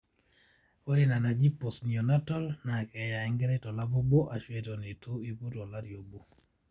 ore ina naji postneonatal naa keeya enkerai tolapa obo aashu eton eitu aiput olari obo